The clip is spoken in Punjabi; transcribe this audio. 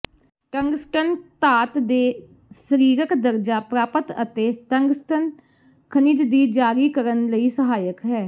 ਟੰਗਸਟਨ ਧਾਤ ਦੇ ਸਰੀਰਕ ਦਰਜਾ ਪ੍ਰਾਪਤ ਅਤੇ ਟੰਗਸਟਨ ਖਣਿਜ ਦੀ ਜਾਰੀ ਕਰਨ ਲਈ ਸਹਾਇਕ ਹੈ